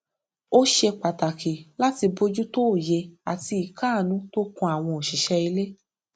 ó ṣe pàtàkì láti bójútó òye àti ìkáàánú tó kan àwọn òṣìṣẹ ilé